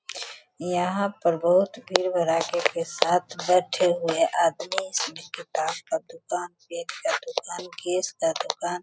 यहाँ पर बहुत भीड़ भड़ाके के साथ बैठे हुए आदमी सभी किताब का दुकान केक का दुकान केश का दुकान --